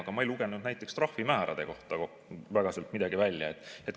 Aga ma ei lugenud näiteks trahvimäärade kohta sealt väga midagi välja.